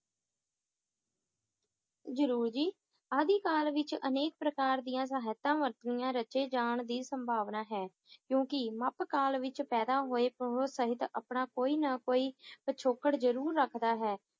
ਜਰੂਰ ਜੀ ਆਦਿਕਾਲ ਵਿਚ ਅਨੇਕ ਪ੍ਰਕਾਰ ਦੀਆਂ ਸਾਹਿਤਾਂ ਵਰਤਣੀਆਂ ਰਚੇ ਜਾਨ ਦੀ ਸੰਭਾਵਨਾ ਹੈ ਕਿਉਂਕਿ ਮੱਧਕਾਲ ਵਿੱਚ ਪੈਦਾ ਹੋਏ ਸਹਿਤ ਆਪਣਾ ਕੋਈ ਨਾ ਕੋਈ ਪਿਛੋਕੜ ਜਰੂਰ ਰੱਖਦਾ ਹੈ